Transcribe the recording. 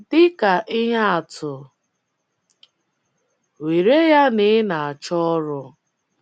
Dị ka ihe atụ, were ya na ị na - achọ ọrụ.